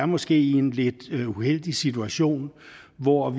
måske er i en lidt uheldig situation hvor